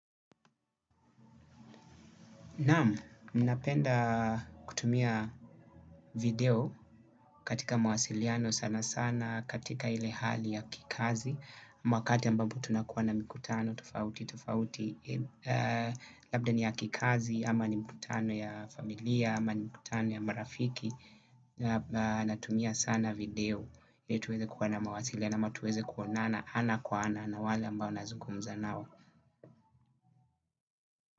Naam, ninapenda kutumia video katika mawasiliano sana sana katika ile hali ya kikazi wakati ambapo tunakuwa na mikutano tufauti tufauti. Labda ni ya kikazi ama ni mikutano ya familia ama ni mikutano ya marafiki. Natumia sana video ili tuweze kuwa na mawasiliano ama tuweze kuonana ana kwa ana na wale ambao nazugumza nao.